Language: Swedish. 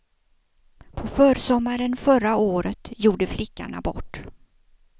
På försommaren förra året gjorde flickan abort.